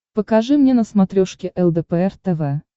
покажи мне на смотрешке лдпр тв